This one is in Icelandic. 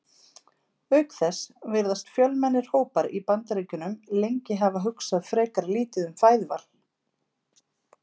Auk þess virðast fjölmennir hópar í Bandaríkjunum lengi hafa hugsað frekar lítið um fæðuval.